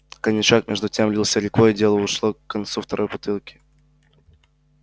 коньячок между тем лился рекой и дело уж шло к концу второй бутылки